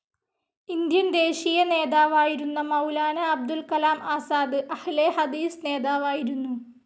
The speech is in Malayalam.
ഇന്ത്യൻ ദേശീയ നേതാവായിരുന്ന മൗലാനാ അബുൽ കലാം ആസാദ് അഹ്‌ലെ ഹദീസ് നേതാവായിരുന്നു.